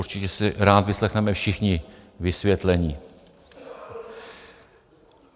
Určitě si rádi vyslechneme všichni vysvětlení.